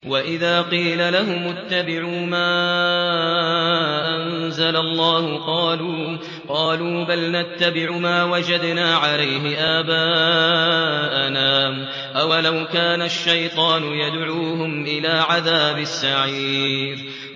وَإِذَا قِيلَ لَهُمُ اتَّبِعُوا مَا أَنزَلَ اللَّهُ قَالُوا بَلْ نَتَّبِعُ مَا وَجَدْنَا عَلَيْهِ آبَاءَنَا ۚ أَوَلَوْ كَانَ الشَّيْطَانُ يَدْعُوهُمْ إِلَىٰ عَذَابِ السَّعِيرِ